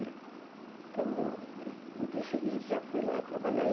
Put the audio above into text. Né então eu né, no dia seguinte, já fui lá trabalhar.